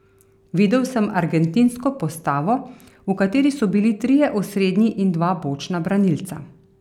Videl sem argentinsko postavo, v kateri so bili trije osrednji in dva bočna branilca.